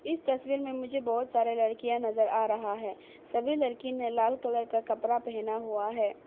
इस तस्वीर में मुझे बहोत सारा लड़कियां नजर आ रहा है सभी लड़की ने लाल कलर का कपड़ा पहना हुआ है।